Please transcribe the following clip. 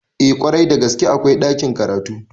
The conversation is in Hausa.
Eh kwarai da gaske akwai ɗakin karatu